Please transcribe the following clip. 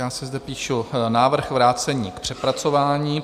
Já si zde píšu - návrh vrácení k přepracování.